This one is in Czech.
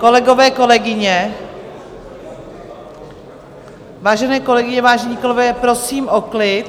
Kolegové, kolegyně, vážené kolegyně, vážení kolegové, prosím o klid!